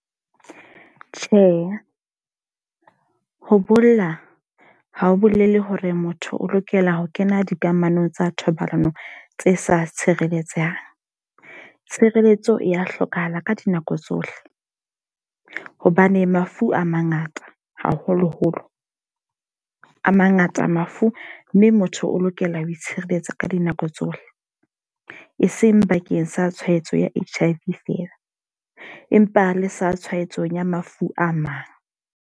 Tjhe, ho bolla ha ho bolele hore motho o lokela ho kena dikamanong tsa thobalano tse sa tshireletsehang. Tshireletso ya hlokahala ka dinako tsohle. Hobane mafu a mangata, haholo-holo a mangata mafu. Mme motho o lokela ho itshireletsa ka dinako tsohle. E seng bakeng sa tshwaetso ya H_I_V fela empa le sa tshwaetso ya mafu a mang.